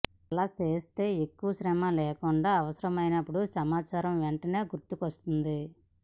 అలా చేస్తే ఎక్కువ శ్రమ లేకుండా అవసరమైనప్పుడు సమాచారం వెంటనే గుర్తుకొస్తుంది